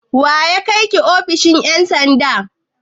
Wa ya kai ki ofishin ƴan sanda?